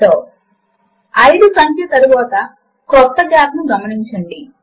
ఒక సూత్రమును ఎంటర్ చేయడము కొరకు మూడవ మార్గము ఉన్నది